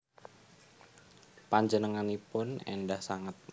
Panjenenganipun endah sanget